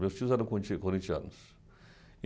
Meus tios eram conti corintianos.